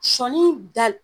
Sɔnii da